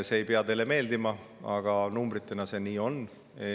See ei pea teile meeldima, aga numbrite kohaselt see nii on.